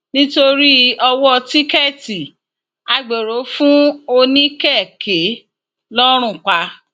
nítorí ọwọ tíkẹẹtì agbéró fún oníkèké lọrun pa